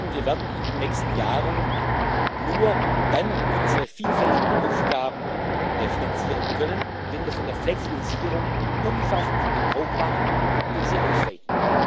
Wir werden in den nächsten Jahren nur dann unsere vielfältigen Aufgaben finanzieren können, wenn wir von der Flexibilisierung umfassend Gebrauch machen und sie ausweiten.